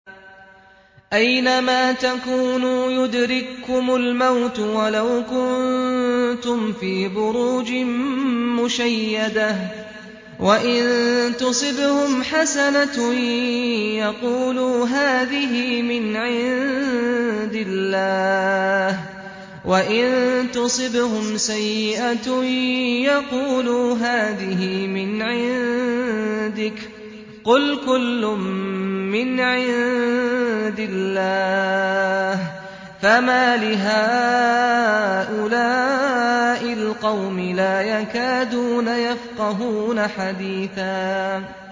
أَيْنَمَا تَكُونُوا يُدْرِككُّمُ الْمَوْتُ وَلَوْ كُنتُمْ فِي بُرُوجٍ مُّشَيَّدَةٍ ۗ وَإِن تُصِبْهُمْ حَسَنَةٌ يَقُولُوا هَٰذِهِ مِنْ عِندِ اللَّهِ ۖ وَإِن تُصِبْهُمْ سَيِّئَةٌ يَقُولُوا هَٰذِهِ مِنْ عِندِكَ ۚ قُلْ كُلٌّ مِّنْ عِندِ اللَّهِ ۖ فَمَالِ هَٰؤُلَاءِ الْقَوْمِ لَا يَكَادُونَ يَفْقَهُونَ حَدِيثًا